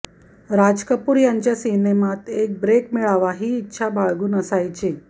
राज कपूर यांच्या सिनेमांत एक ब्रेक मिळावा ही इच्छा बाळगून असायची